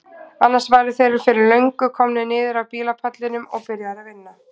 Annars væru þeir fyrir löngu komnir niður af bílpallinum og byrjaðir að vinna.